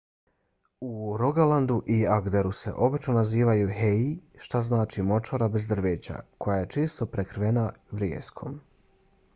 u rogalandu i agderu se obično nazivaju hei što znači močvara bez drveća koja je često prekrivena vrijeskom